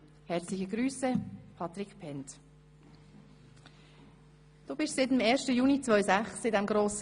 Herzliche Grüsse, Patric Bhend» Du gehörst dem Grossen Rat seit Juni 2006 an.